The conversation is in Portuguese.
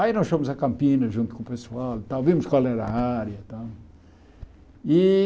Aí nós fomos a Campinas junto com o pessoal e tal, vimos qual era a área e tal. E